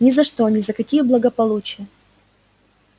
ни за что ни за какие благополучия